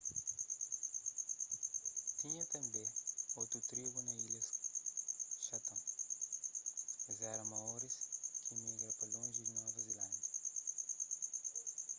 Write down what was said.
tinha tanbê otu tribu na ilhas chatham es éra maoris ki migra pa lonji di nova zilándia